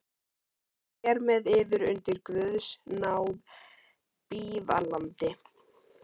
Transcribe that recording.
Hér með yður undir guðs náð bífalandi.